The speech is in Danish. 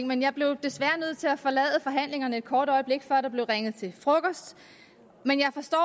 men jeg blev desværre nødt til at forlade forhandlingerne et kort øjeblik før der blev ringet til frokost men jeg forstår